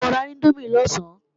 Ṣé o ra índómì lọ̀sán?